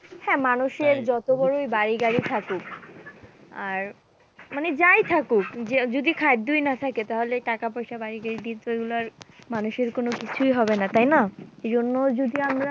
হ্যাঁ, মানুষের যত বড়োই বাড়ি গাড়ি থাকুক আর মানে যাই থাকুক যে যদি খাদ্যই না থাকে তাহলে টাকা-পয়সা, বাড়ি, গাড়ি দিয়ে তো এগুলো আর মানুষের কোনো কিছুই হবে না তাই না? এই জন্য যদি আমরা